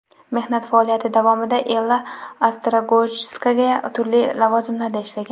Mehnat faoliyati davomida Ella Ostrogojskaya turli lavozimlarda ishlagan.